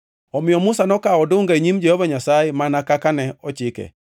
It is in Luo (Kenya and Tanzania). Omiyo Musa nokawo odunga e nyim Jehova Nyasaye mana kaka ne ochike.